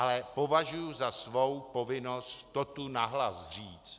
Ale považuji za svou povinnost to tu nahlas říct.